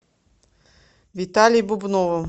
виталей бубновым